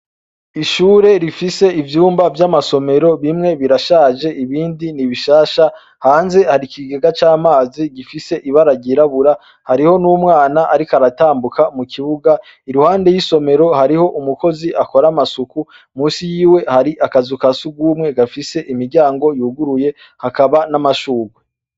Ishure rifise ivyumba vy'amasomero, bimwe birashaje ibindi ni bishasha, hanze hari ikigega c'amazi gifise ibara ry'irabura, hariho n'umwana ariko aratambuka, mu kibuga iruhande y'isomero hariho umukozi akora amsuku, musi yiwe hari akazu ka sugumwe gafise imiryango yuguruye n'amashurwe.